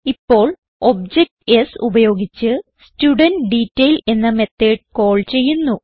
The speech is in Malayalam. ഇപ്പോൾ ഒബ്ജക്ട് s ഉപയോഗിച്ച് studentDetail എന്ന മെത്തോട് കാൾ ചെയ്യുന്നു